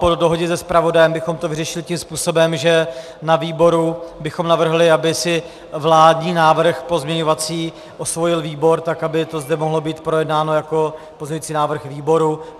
Po dohodě se zpravodajem bychom to vyřešili tím způsobem, že na výboru bychom navrhli, aby si vládní návrh pozměňovací osvojil výbor, tak aby to zde mohlo být projednáno jako pozměňovací návrh výboru.